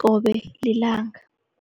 qobe lilanga.